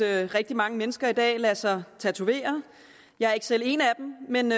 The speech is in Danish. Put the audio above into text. rigtig mange mennesker i dag lader sig tatovere jeg er ikke selv en af dem men